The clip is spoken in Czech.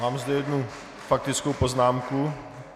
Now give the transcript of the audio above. Mám zde jednu faktickou poznámku.